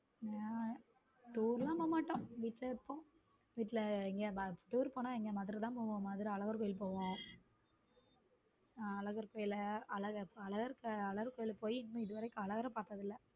நான் tour எல்லாம் போக மாட்டோம் வீட்ல தான் இருப்போம் tour போனா மதுரை தான் போவோம் மதுரையில் அழகர் கோவில் போவோம அழகர் கோயில்ல அழகா அழகு கோவில் போய் பல தடவை பார்த்ததில்லை.